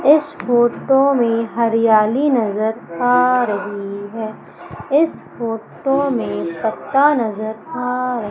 इस फोटो में हरियाली नजर आ रही है। इस फोटो में पत्ता नजर आ र--